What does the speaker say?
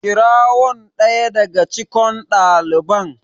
kirawon ɗaya daga cikon daliban